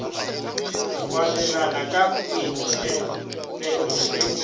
go abelana ka boitsebelo le